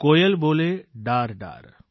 કોયલ બોલે ડાર ડાર